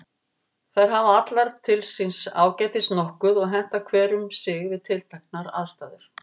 Þær hafa allar til síns ágætis nokkuð og henta hver um sig við tilteknar aðstæður.